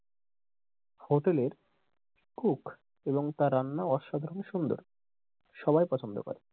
Hotel এর cook এবং তার রান্না অসাধারণ সুন্দর সবাই পছন্দ করে।